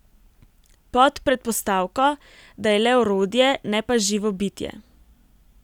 Pod predpostavko, da je le orodje, ne pa živo bitje.